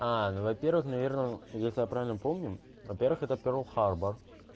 аа ну во-первых наверное если я правильно помню во-первых этот перл харбор